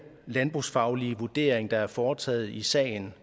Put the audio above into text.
landbrugsfaglige vurdering der er foretaget i sagen